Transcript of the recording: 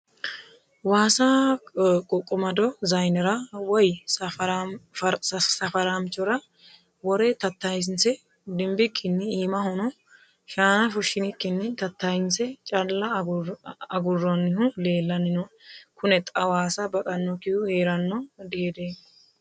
Waasa ququmado zayinera woyi safaramchora wore tatayinse dimbikkinni iimahono shaana fushinikkinni tatayinse calla aguronihu leellani nooe kune xa waasa baxanokkihu heerano dihedemmo.